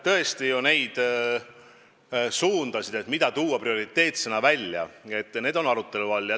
Tõesti on arutelu all, mis suunad peaksid olema prioriteetsena välja toodud.